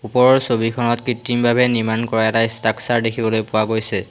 ওপৰৰ ছবিখনত কৃত্ৰিমভাৱে নিৰ্মাণ কৰা এটা ষ্ট্ৰাকচাৰ দেখিবলৈ পোৱা গৈছে।